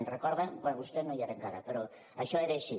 ho recorden bé vostè no hi era encara però això era així